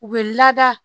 U bɛ lada